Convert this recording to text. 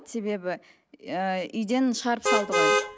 себебі ііі үйден шығарып салды ғой